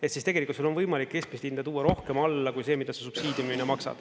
Et siis tegelikult sul on võimalik keskmist hinda tuua rohkem alla kui see, mida sa subsiidiumina maksad.